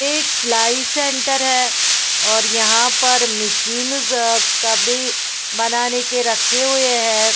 एक सिलाई सेंटर है और यहाँ पर मशीन ज़ का बी बनाने के रखे हुए है।